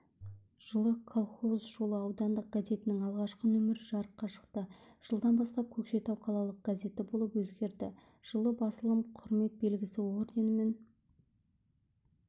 жылы колхоз жолы аудандық газетінің алғашқы нөмірі жарыққа шықты жылдан бастап көкшетау қалалық газеті болып өзгерді жылы басылым құрмет белгісі орденімен